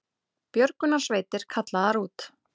Björgunarsveitir kallaðar út